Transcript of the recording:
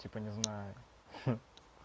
типа не знаю